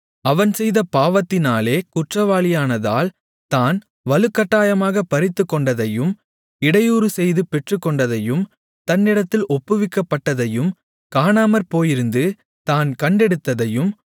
அவன் செய்த பாவத்தினாலே குற்றவாளியானதால் தான் வலுக்கட்டாயமாகப் பறித்துக்கொண்டதையும் இடையூறுசெய்து பெற்றுக்கொண்டதையும் தன்னிடத்தில் ஒப்புவிக்கப்பட்டதையும் காணாமற்போயிருந்து தான் கண்டெடுத்ததையும்